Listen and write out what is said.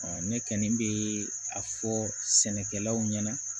ne kɔni bɛ a fɔ sɛnɛkɛlaw ɲɛna